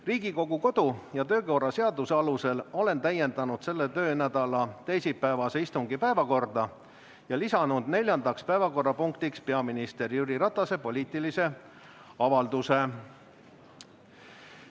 Riigikogu kodu‑ ja töökorra seaduse alusel olen täiendanud selle töönädala teisipäevase istungi päevakorda ja lisanud neljandaks päevakorrapunktiks peaminister Jüri Ratase poliitilise avalduse.